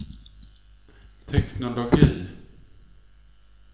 teknologi